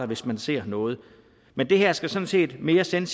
hvis man ser noget men det her skal sådan set mere sende